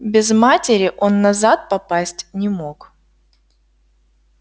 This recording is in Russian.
без матери он назад попасть не мог